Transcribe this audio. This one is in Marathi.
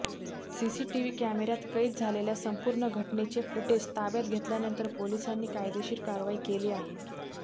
सीसीटीव्ही कॅमेऱ्यात कैद झालेल्या संपूर्ण घटनेचे फुटेज ताब्यात घेतल्यानंतर पोलिसांनी कायदेशीर कारवाई केली आहे